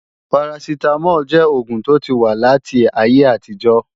Parasitamol jẹ́ oògùn tó ti wà láti ayé àtijó